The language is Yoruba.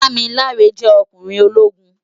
Damilare jè okúnrin ólógún